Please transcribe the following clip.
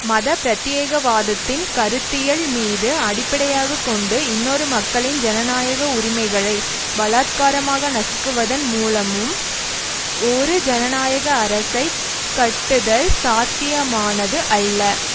மத பிரத்தியேகவாதத்தின் கருத்தியல் மீது அடிப்படையாக கொண்டும் இன்னொரு மக்களின் ஜனநாயக உரிமைகளை பலாத்காரமாக நசுக்குவதன் மூலமும் ஒரு ஜனநாயக அரசை கட்டுதல் சாத்தியமானது அல்ல